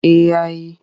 Eh ya yi.